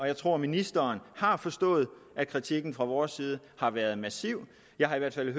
jeg tror at ministeren har forstået at kritikken fra vores side har været massiv jeg har i hvert fald